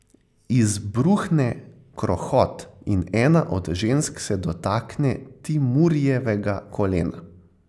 Izbruhne krohot in ena od žensk se dotakne Timurjevega kolena.